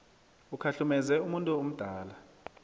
ukhahlumeze umuntu omdala